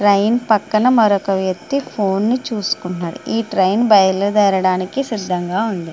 Train పక్కన మరొక వ్యక్తి ఫోన్ చూస్తున్నాడు ఈ ట్రైన్ బయలు దేరాదానికి సిద్ధముగా ఉంది .